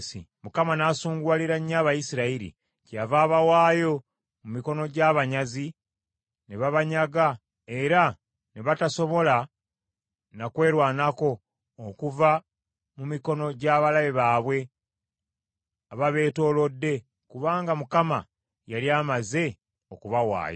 Mukama n’asunguwalira nnyo Abayisirayiri: Kyeyava abawaayo mu mikono gy’abanyazi ne babanyanga era ne batasobola na kwerwanako okuva mu mikono gy’abalabe baabwe ababeetoolodde kubanga Mukama yali amaze okubawaayo.